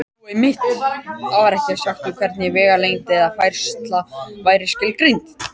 Jú, einmitt: Þar var ekkert sagt um það hvernig vegalengd eða færsla væri skilgreind!